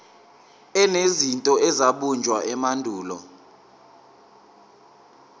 enezinto ezabunjwa emandulo